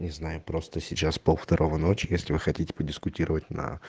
не знаю просто сейчас пол второго ночи если вы хотите подискутировать на